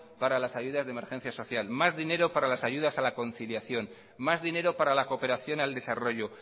para las ayudas de emergencia social más dinero para las ayudas a la conciliación más dinero para la cooperación al desarrollo